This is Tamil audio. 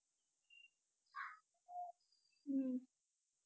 ஹம்